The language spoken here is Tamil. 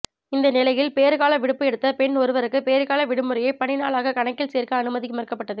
இந்த நிலையில் பேறுகால விடுப்பு எடுத்த பெண் ஒருவருக்கு பேறுகால விடுமுறையை பணி நாளாக கணக்கில் சேர்க்க அனுமதி மறுக்கப்பட்டது